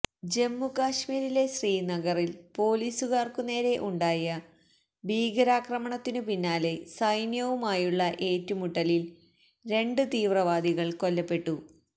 ജമ്മു കാഷ്മീരിലെ ശ്രീനഗറില് പോലീസുകാര്ക്കുനേരെ ഉണ്ടായ ഭീകരാക്രമണത്തിനു പിന്നാലെ സൈന്യവുമായുള്ള ഏറ്റുമുട്ടലില് രണ്ട് തീവ്രവാദികള് കൊല്ലപ്പെട്ടു